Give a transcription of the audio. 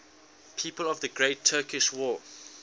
people of the great turkish war